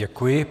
Děkuji.